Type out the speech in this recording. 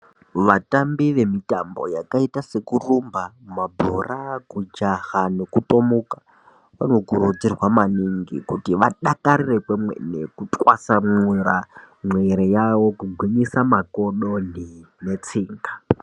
Vatambi vemitambo yakaita sekurumba mabhora kujaha nekutomuka. Vanokurudzirwa maningi kuti vadakarire kwemene kutwasamura mwiri yavo kugwinyisa makodo netsinga.